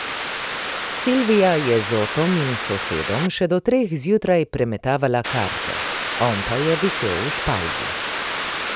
Silvija je z Otom in sosedom še do treh zjutraj premetavala karte, on pa je visel v špajzi.